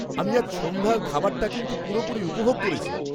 আমি আজ সন্ধ্যায় খাবারটা কিন্তু পুরোপুরি উপভোগ করেছি (খাদ্য সমালোচক)।